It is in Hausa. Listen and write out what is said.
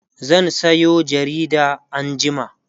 zan Sayo jarida anjima